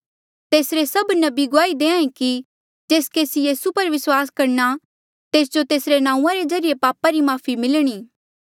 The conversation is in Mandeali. तेसरे सभ नबी गुआही देहां ऐें कि जेस केसी यीसू पर विस्वास करणा तेस्जो तेसरे नांऊँआं रे ज्रीए पापा री माफ़ी मिलणी